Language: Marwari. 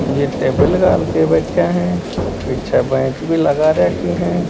ये टेबिल घाल कर बैठे है पीछे बैंच भी लगा राखी है।